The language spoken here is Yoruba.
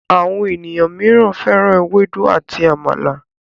Àwọn ènìyàn míràn féràn Ewédú àti àmàlà.